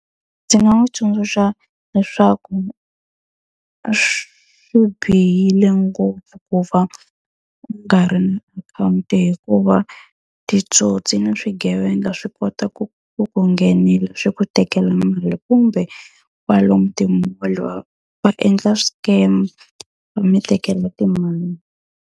Ndzi nga n'wi tsundzuxa leswaku swi bihile ngopfu ku va u nga ri ni akhawunti hikuva titsotsi byi na swigevenga swi kota ku ku ku nghenisa swi ku tekela mali kumbe, kwalomu ti-mall va va endla scam va mi tekela timali.